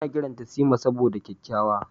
Ana kiranta Sima saboda kyakkyawa.